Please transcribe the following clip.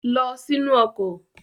Lọ sínú ọkọ̀!